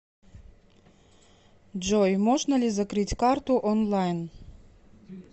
джой можно ли закрыть карту онлайн